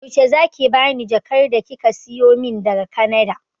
Yaushe zaki bani jakar da kika siyo min daga kanada